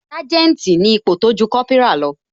Sanjeti ni ipò tójú Kópírà lọ